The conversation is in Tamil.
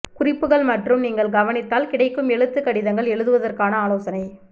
குறிப்புகள் மற்றும் நீங்கள் கவனித்தால் கிடைக்கும் எழுத்து கடிதங்கள் எழுதுவதற்கான ஆலோசனை